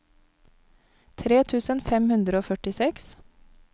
tre tusen fem hundre og førtiseks